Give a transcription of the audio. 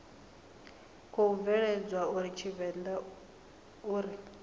khou bveledzwa a tshivenḓa uri